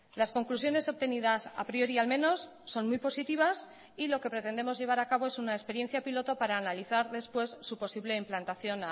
las conclusiones obtenidas a priori al menos son muy positivas y lo que pretendemos llevar a cabo es una experiencia piloto para analizar después su posible implantación